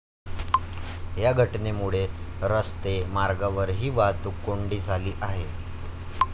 या घटनेमुळे रस्ते मार्गावरही वाहतूक कोंडी झाली आहे.